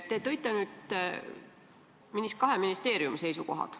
Te tõite nüüd ära kahe ministeeriumi seisukohad.